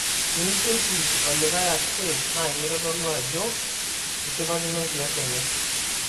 Tinijoki olikae ashe naikitodolu ajo ishipakino enkias enye